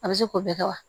A bɛ se k'o bɛɛ kɛ wa